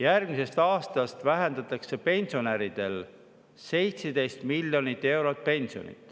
Järgmisest aastast vähendatakse pensionäridel pensionit 17 miljoni euro võrra.